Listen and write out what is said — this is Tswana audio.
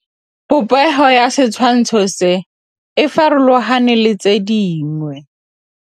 Popêgo ya setshwantshô se, e farologane le tse dingwe.